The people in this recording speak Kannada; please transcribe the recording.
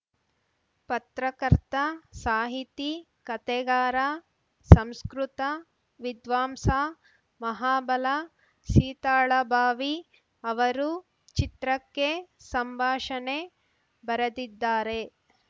ಪತ್ರಕರ್ತ ಸಾಹಿತಿ ಕತೆಗಾರ ಸಂಸ್ಕೃತ ವಿದ್ವಾಂಸ ಮಹಾಬಲ ಸೀತಾಳಭಾವಿ ಅವರು ಚಿತ್ರಕ್ಕೆ ಸಂಭಾಷಣೆ ಬರೆದಿದ್ದಾರೆ